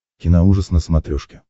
киноужас на смотрешке